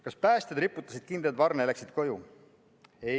Kas päästjad riputasid kindad varna ja läksid koju?